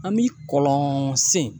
An mi kɔlɔn sen